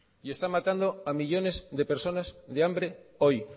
y está matando a millónes de personas de hambre hoy